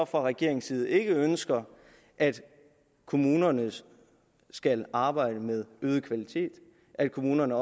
fra regeringens side ikke ønsker at kommunerne skal arbejde med øget kvalitet at kommunerne